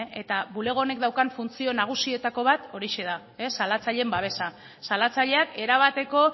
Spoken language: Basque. eta bulego honek daukan funtzio nagusietako bat horixe da salatzaileen babesa salatzaileak erabateko